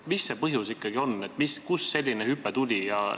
Mis see põhjus ikkagi on, kust selline hüpe tuli?